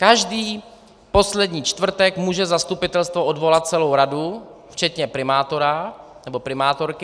Každý poslední čtvrtek může zastupitelstvo odvolat celou radu včetně primátora, nebo primátorky.